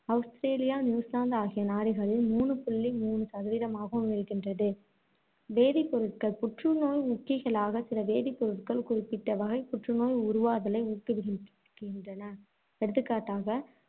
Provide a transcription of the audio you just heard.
Australia, New Zealand ஆகிய நாடுகளில் மூணு புள்ளி மூணு சதவீதமாகவும் இருக்கின்றது. வேதிப்பொருட்கள் புற்றுநோய் ஊக்கிகளாக சில வேதிப்பொருட்கள் குறிப்பிட்ட வகைப் புற்றுநோய் உருவாதலை ஊக்குவி~ விக்கின்றன. எடுத்துக்காட்டாக